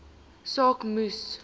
saak moes